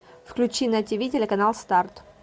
включи на тиви телеканал старт